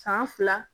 San fila